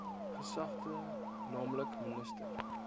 gesagte nl minister